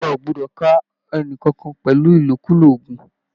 Ìjọba ò gbọdọ̀ ká ẹni kankan pẹ̀lú Ìlòkulò oògùn